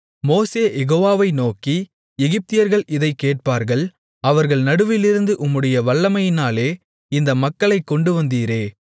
மோசே யெகோவாவை நோக்கி எகிப்தியர்கள் இதைக் கேட்பார்கள் அவர்கள் நடுவிலிருந்து உம்முடைய வல்லமையினாலே இந்த மக்களைக் கொண்டுவந்தீரே